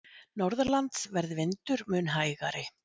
Norðanlands verði vindur mun hægari